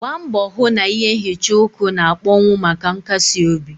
Gbaa mbọ hụ na ihe nhicha uku na-akpọnwụ maka nkasi obi.